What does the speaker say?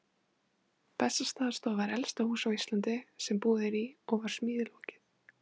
Bessastaðastofa er elsta hús á Íslandi sem búið er í og var smíði lokið